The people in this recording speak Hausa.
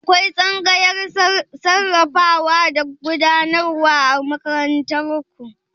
Akwai tsangayar sarrafawa da gudanarwa a makarantar ku?